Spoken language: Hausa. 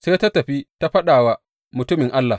Sai ta tafi ta faɗa wa mutumin Allah.